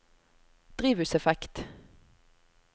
drivhuseffekt